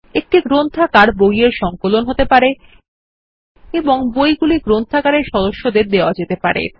একটি গ্রন্থাগার বই এর সংকলন হতে পারে এবং বইগুলি গ্রন্থাগার এর সদস্যদের দেওয়া যেতে পারে